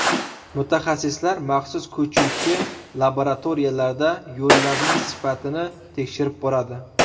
Mutaxassislar maxsus ko‘chuvchi laboratoriyalarda yo‘llarning sifatini tekshirib boradi.